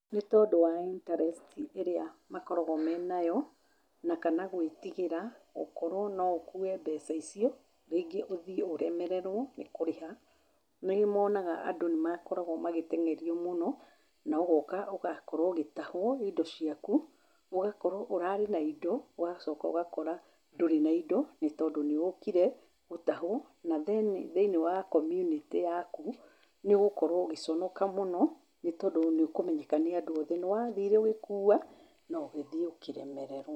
Nĩ tondũ wa interecti ĩria makoragwo menayo, na kana gwĩtĩgĩra gũkorwo no ũkue mbeca icio rĩngĩ ũthie ũremererwo ni kũrĩha, nĩ monaga andũ nĩ makoragwo magĩtenyerio mũno na ũgoka ũgakorwo ũgĩtahwo indo ciaku ũgakorwo ũrarĩ na indo ũgacoka ũgakora ndurĩ na indo nĩ tondũ nĩ ũkire gũtahwo. Na thiĩnĩ wa komunitĩ yakũ nĩ ũgũkorwo ũgĩconoka mũno, nĩ tondũ nĩ ũkũmenyeka nĩ andũ othe, nĩ wathire ũgĩkua na ũgĩthiĩ ũkĩremererwo.